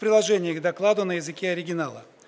приложение к докладу на языке оригинала